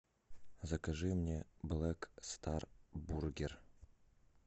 закажи мне блэк стар бургер